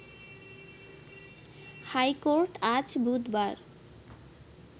high court আজ বুধবার